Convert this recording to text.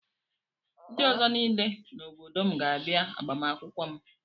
Ndị ọzọ niile n'obodo m ga-abịa agbamakwụkwọ m.